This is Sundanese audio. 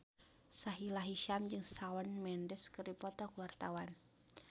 Sahila Hisyam jeung Shawn Mendes keur dipoto ku wartawan